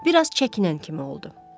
Bir az çəkinən kimi oldu.